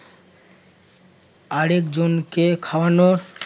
আরেকজনকে খাওয়ানোর